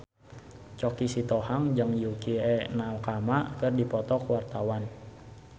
Choky Sitohang jeung Yukie Nakama keur dipoto ku wartawan